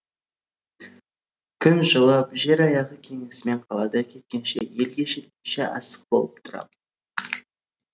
күн жылып жер аяғы кеңісімен қаладан кеткенше елге жеткенше асық болып тұрам